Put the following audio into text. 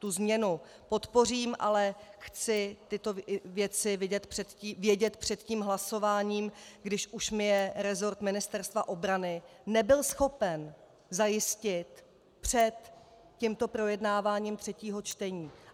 Tu změnu podpořím, ale chci tyto věci vědět před tím hlasováním, když už mi je resort Ministerstva obrany nebyl schopen zajistit před tímto projednáváním třetího čtení.